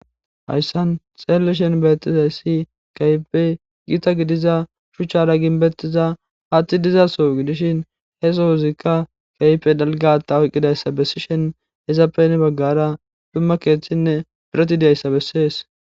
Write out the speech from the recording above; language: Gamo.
Haysan xelishin betizays kehipe gita gidiza shuchara gibetiza hathi dizaso gidishin he sozika kehipe dalga hatae oykidaysa besishin izape hen bagara dumma kethinne